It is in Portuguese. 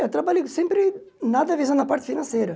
Eu trabalhei sempre, nada visando a parte financeira